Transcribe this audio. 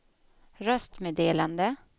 röstmeddelande